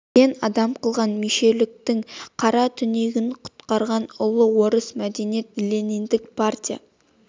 сен адам қылған мешеуліктің қара түнегінен құтқарған ұлы орыс мәдениет лениндік партия